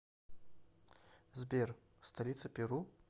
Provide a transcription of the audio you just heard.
сбер столица перу